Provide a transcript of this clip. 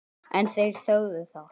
En þeir þögðu um það.